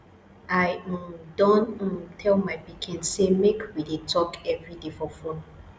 i um don um tell my pikin sey make we dey talk everyday for fone